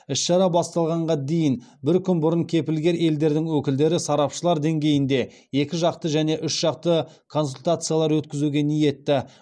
іс шара басталғанға дейін бір күн бұрын кепілгер елдердің өкілдері сарапшылар деңгейінде екі жақты және үш жақты консультациялар өткізуге ниетті